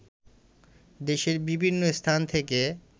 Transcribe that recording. দেশের বিভিন্ন স্থান থেকে